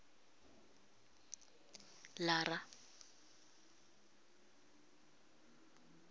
lara